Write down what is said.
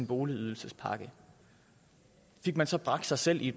boligydelsespakken fik man så bragt sig selv i